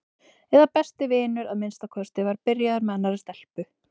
eða besti vinur að minnsta kosti var byrjaður með annarri stelpu.